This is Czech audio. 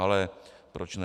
Ale proč ne.